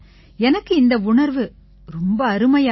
எனக்கு இந்த உணர்வு ரொம்ப அருமையா இருக்கு